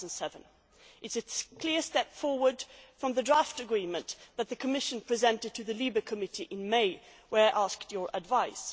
2007. It is a clear step forward from the draft agreement that the Commission presented to the LIBE committee in May, where we asked your advice.